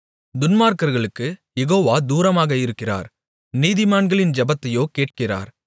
துன்மார்க்கர்களுக்குக் Jehovah தூரமாக இருக்கிறார் நீதிமான்களின் ஜெபத்தையோ கேட்கிறார்